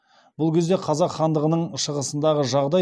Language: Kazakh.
бұл кезде қазақ хандығының шығысындағы жағдай